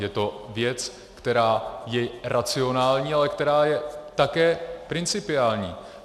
Je to věc, která je racionální, ale která je také principiální.